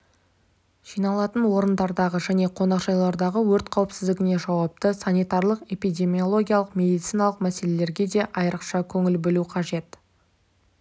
жиналатын орындардағы және қонақжайлардағы өрт қауіпсіздігіне жауапты санитарлық-эпидемиологиялық медициналық мәселелерге де айрықша көңіл бөлу қажет